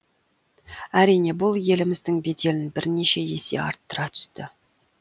әрине бұл еліміздің беделін бірнеше есе арттыра түсті